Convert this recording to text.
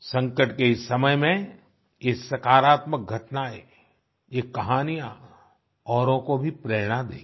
संकट के इस समय में ये सकारात्मक घटनाएँ ये कहानियाँ औरों को भी प्रेरणा देंगी